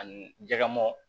Ani jɛgɛ mɔ